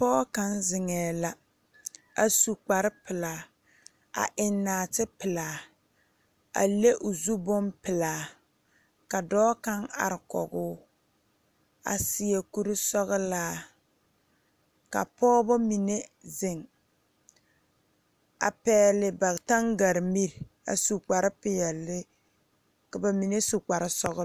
Pɔɔ kaŋ zeŋɛɛ la a su kparepelaa a eŋ naati pelaa a le o zu bonpelaa ka dɔɔ kaŋ are kɔgoo a seɛ kurisɔglaa ka pɔɔbɔ mine zeŋ a pɛgle ba taŋgaremire a su kparepeɛle ka ba mine su kparesɔglɔ.